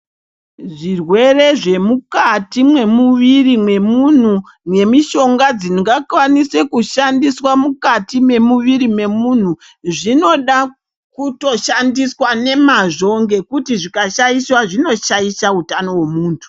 Zvirwere zvemukati mwemuviri mwemunhu nemishonga dzingakwanise kushandiswa mukati mwemuviri wemntu zvinoda kutoshandiswa nemazvo nekuti zvikashaishwa zvinoshaisha utano hwemunhu.